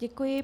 Děkuji.